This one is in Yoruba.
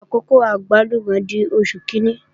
Àkókò àgbálùmọ̀ di Oṣù kíní